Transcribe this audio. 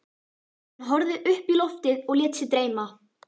Hann horfði upp í loftið og lét sig dreyma.